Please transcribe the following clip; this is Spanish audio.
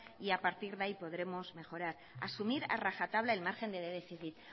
y a partir de ahí podremos mejorar asumir a rajatabla el margen de déficit